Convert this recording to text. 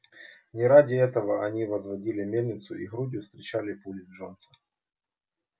не ради этого они возводили мельницу и грудью встречали пули джонса